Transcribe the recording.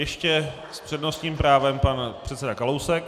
Ještě s přednostním právem pan předseda Kalousek.